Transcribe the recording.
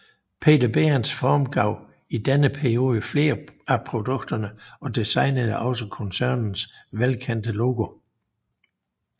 Peter Behrens formgav i denne periode flere af produkterne og designede også koncernens velkendte logo